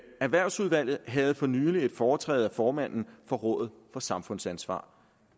erhvervsudvalget havde for nylig et foretræde af formanden for rådet for samfundsansvar